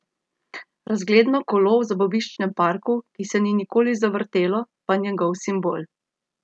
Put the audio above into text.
Razgledno kolo v zabaviščnem parku, ki se ni nikoli zavrtelo, pa njegov simbol.